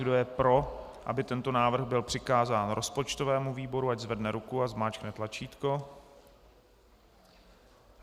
Kdo je pro, aby tento návrh byl přikázán rozpočtovému výboru, ať zvedne ruku a zmáčkne tlačítko.